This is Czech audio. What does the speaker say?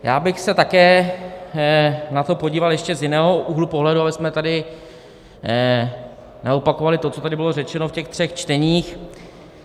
Já bych se také na to podíval ještě z jiného úhlu pohledu, abychom tady neopakovali to, co tady bylo řečeno v těch třech čteních.